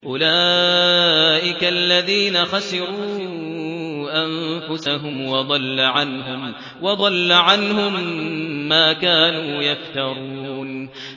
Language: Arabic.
أُولَٰئِكَ الَّذِينَ خَسِرُوا أَنفُسَهُمْ وَضَلَّ عَنْهُم مَّا كَانُوا يَفْتَرُونَ